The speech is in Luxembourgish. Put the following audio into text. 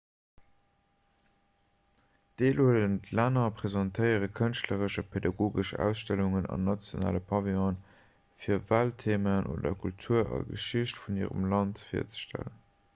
d'deelhuelend länner presentéiere kënschtleresch a pädagogesch ausstellungen an nationale pavillonen fir welttheemaen oder d'kultur a geschicht vun hirem land virzestellen